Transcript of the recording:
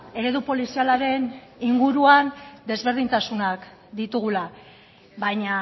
eredu polizialaren inguruan desberdintasunak ditugula baina